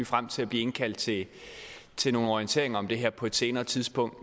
frem til at blive indkaldt til til nogle orienteringer om det her på et senere tidspunkt